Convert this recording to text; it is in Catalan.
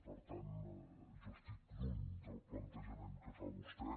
per tant jo estic lluny del plantejament que fa vostè